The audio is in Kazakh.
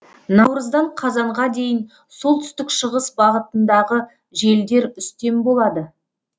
наурыздан қазанға дейін солтүстік шығыс бағытындағы желдер үстем болады